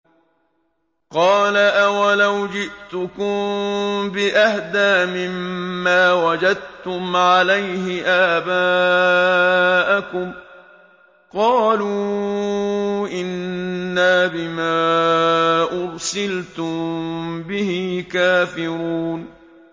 ۞ قَالَ أَوَلَوْ جِئْتُكُم بِأَهْدَىٰ مِمَّا وَجَدتُّمْ عَلَيْهِ آبَاءَكُمْ ۖ قَالُوا إِنَّا بِمَا أُرْسِلْتُم بِهِ كَافِرُونَ